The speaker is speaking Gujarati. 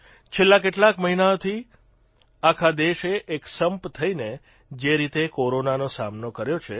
છેલ્લા કેટલાક મહિનાથી આખા દેશે એકસંપ થઇને જે રીતે કોરોનાનો સામનો કર્યો છે